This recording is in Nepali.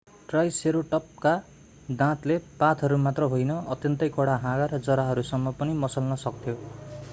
ट्राइसेरोटपका दाँतले पातहरू मात्र होइन अत्यन्तै कडा हाँगा र जराहरूसम्म पनि मसल्न सक्थ्यो